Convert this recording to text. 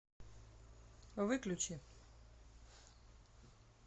выключи